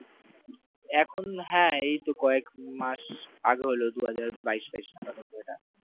হ্যাঁ এইতো কয়েক দিন মাস আগে হলো দুই হাজার বাইশ ফাইশ নাগাদ হল এটা,